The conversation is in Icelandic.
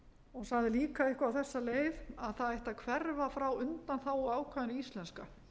hún sagði líka eitthvað á þessa leið að það ætti að hverfa frá undanþáguákvæðinu íslenska